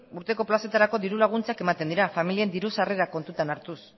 urteko plazetarako diru laguntzak ematen dira familien diru sarrerak kontutan hartuz